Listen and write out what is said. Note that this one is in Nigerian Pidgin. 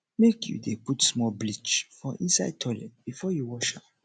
make you dey put small bleach for inside toilet before you wash am